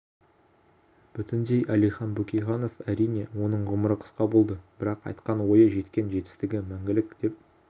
бүтіндей әлихан бөкейханов әрине оның ғұмыры қысқа болды бірақ айтқан ойы жеткен жетістігі мәңгілік деп